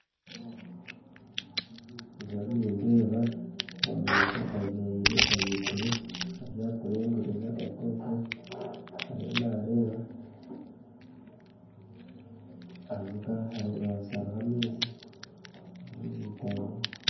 Ndiyo nindeeba omuntu ayemeriire ahaiguru ariyo akuringuririza oku oku ariyo nareeba, ahansi hariho amaizi